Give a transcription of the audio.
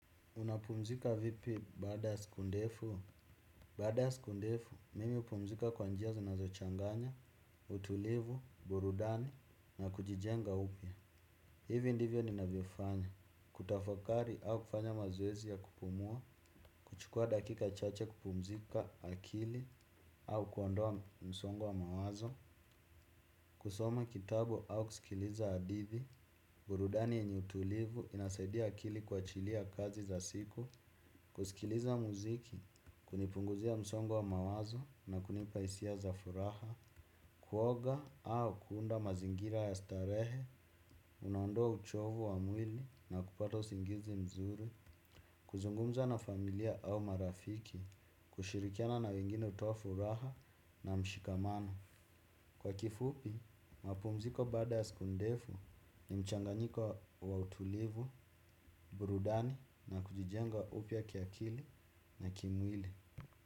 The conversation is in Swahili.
Unapumzika vipi baada ya siku ndefu? Baada ya siku ndefu, mimi hupumzika kwa njia zinazo changanya, utulivu, burudani, na kujijenga upya. Hivi ndivyo ninavyofanya. Kutafakari au kufanya mazoezi ya kupumua. Chukua dakika chache kupumzika akili au kuondoa msongo wa mawazo. Kusoma kitabu au kusikiliza hadithi. Burudani yenye utulivu inasaidia akili kuachilia kazi za siku. Kusikiliza muziki, kunipunguzia msongo wa mawazo na kunipa hisia za furaha. Kuoga au kuunda mazingira ya starehe, unaondoa uchovu wa mwili na kupata usingizi mzuri. Kuzungumza na familia au marafiki, kushirikiana na wengine hutoa furaha na mshikamano. Kwa kifupi, mapumziko baada ya siku ndefu ni mchanganyiko wa utulivu, burudani na kujijenga upya kiakili na kimwili.